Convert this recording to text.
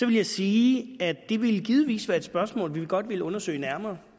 vil jeg sige at det ville givetvis være et spørgsmål vi godt ville undersøge nærmere